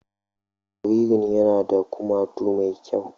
Jaririn yana da kumatu mai kyau